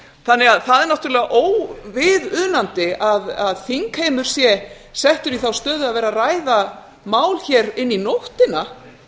þannig að það er náttúrulega óviðunandi að þingheimur sé settur í þá stöðu að vera að ræða mál hér inn í nóttina